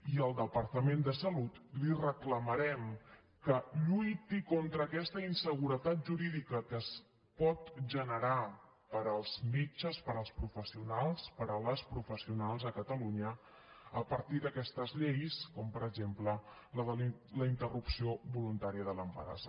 i al departament de salut li reclamarem que lluiti contra aquesta inseguretat jurídica que es pot generar per als metges per als professionals per a les professionals a catalunya a partir d’aquestes lleis com per exemple la de la interrupció voluntària de l’embaràs